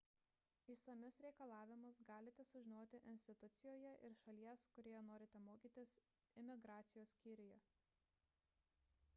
išsamius reikalavimus galite sužinoti institucijoje ir šalies kurioje norite mokytis imigracijos skyriuje